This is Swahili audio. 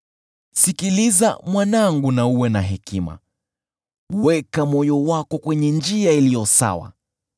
Sikiliza, mwanangu na uwe na hekima, weka moyo wako kwenye njia iliyo sawa.